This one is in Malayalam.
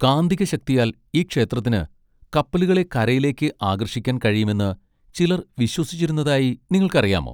കാന്തിക ശക്തിയാൽ ഈ ക്ഷേത്രത്തിന് കപ്പലുകളെ കരയിലേക്ക് ആകർഷിക്കാൻ കഴിയുമെന്ന് ചിലർ വിശ്വസിച്ചിരുന്നതായി നിങ്ങൾക്കറിയാമോ?